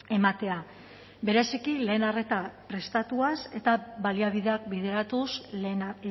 ematea bereziki lehen arreta prestatuaz eta baliabideak bideratuz lehena